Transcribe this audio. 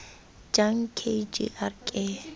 jang k g r ke